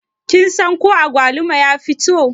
Kin san ko agwaluma ya fito?